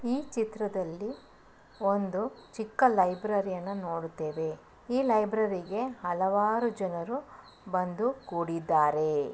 ಈ ಚಿತ್ರದಲ್ಲಿ ಒಂದು ಚಿಕ್ಕ ಲೈಬ್ರರಿ ಯನ್ನ ನೋಡುತ್ತೇವೆ. ಈ ಲೈಬ್ರರಿಗೆ ಹಲವಾರು ಜನರು ಬಂದು ಕೂಡಿದ್ದಾರೆ.